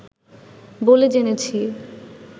বলে জেনেছি